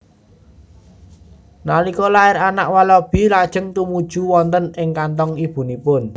Nalika lair anak walabi lajeng tumuju wonten ing kanthong ibunipun